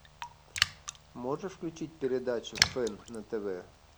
можешь включить передачу фэн на тв